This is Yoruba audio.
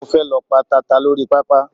Mo fe lọ pa tata lórí pápá